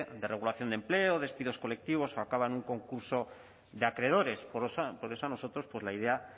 de regulación de empleo o despidos colectivos o acaba en un concurso de acreedores por eso a nosotros pues la idea